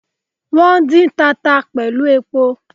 Wón dín tata pẹ̀lú epo